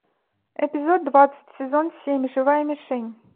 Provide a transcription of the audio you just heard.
эпизод двадцать сезон семь живая мишень